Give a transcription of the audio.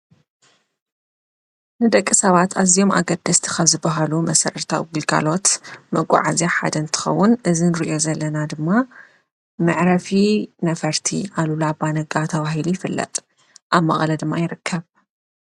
ንደቂ ሰባት እዝኦም ኣገደስቲ ካብ ዝባሃሉ መሰረታዊ ግልጋሎት መጓዓዝያ ሓደ እንትከውን እዚ ንርእዮ ዘለና ድማ መዕረፊ ነፈርቲ ኣሉላ ኣባነጋ ተባሂሉ ይፍለጥ ኣብ መቐለ ድማ ይረከብ።